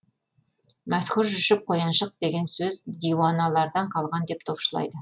мәшһүр жүсіп қояншық деген сөз диуаналардан қалған деп топшылайды